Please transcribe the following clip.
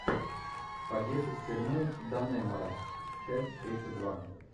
побег из тюрьмы даннемора часть тридцать два